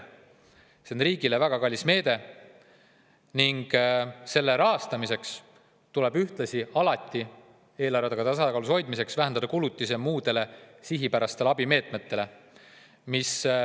See oleks riigile väga kallis meede ning selle rahastamiseks ning ühtlasi eelarve tasakaalus hoidmiseks tuleks vähendada kulutusi muudele sihipärastele abimeetmetele.